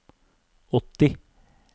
åtti